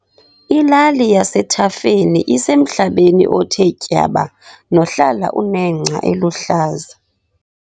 Ilali yasethafeni isemhlabeni othe tyaba nohlala unengca eluhlaza.